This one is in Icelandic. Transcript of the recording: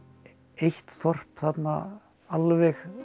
eitt þorp þarna alveg